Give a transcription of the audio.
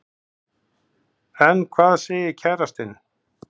En hvað segir kærastinn?